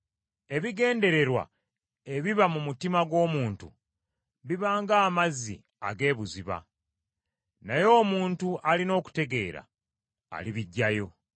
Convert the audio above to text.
Ebigendererwa ebiba mu mutima gw’omuntu biba ng’amazzi ag’ebuziba, naye omuntu alina okutegeera alibiggyayo.